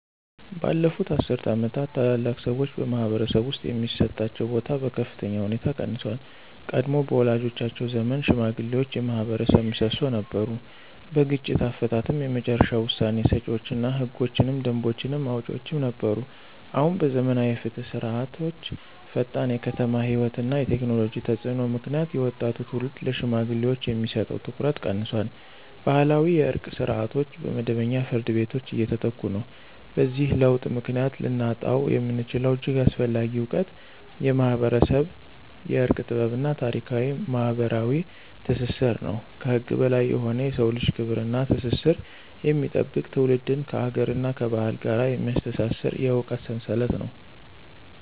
ባለፉት አስርት ዓመታት፣ ታላላቅ ሰዎች በማኅበረሰብ ውስጥ የሚሰጣቸው ቦታ በከፍተኛ ሁኔታ ቀንሷል። ቀድሞ በወላጆቻችን ዘመን ሽማግሌዎች የማኅበረሰብ ምሰሶ ነበሩ። በግጭት አፈታትም የመጨረሻ ውሳኔ ሰጪዎች እና ህጎችንና ደንቦችን አውጪዎችም ነበሩ። አሁን በዘመናዊ የፍትህ ስርዓቶችዐፈጣን የከተማ ሕይወት እና የቴክኖሎጂ ተፅዕኖ ምክንያት የወጣቱ ትውልድ ለሽማግሌዎች የሚሰጠው ትኩረት ቀንሷል። ባህላዊ የእርቅ ስርዓቶች በመደበኛ ፍርድ ቤቶች እየተተኩ ነው። በዚህ ለውጥ ምክንያት ልናጣው የምንችለው እጅግ አስፈላጊ እውቀት የማኅበረሰብ የእርቅ ጥበብ እና ታሪካዊ ማኅበራዊ ትስስር ነው። ከህግ በላይ የሆነ የሰውን ልጅ ክብር እና ትስስር የሚጠብቅ፣ ትውልድን ከአገርና ከባህል ጋር የሚያስተሳስር የእውቀት ሰንሰለት ነው።